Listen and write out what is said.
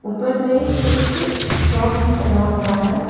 ऊपर में एक फ्रॉक भी टंगा हुआ है।